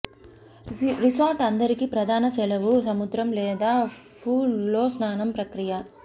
resort అందరికీ ప్రధాన సెలవు సముద్రం లేదా పూల్ లో స్నానం ప్రక్రియ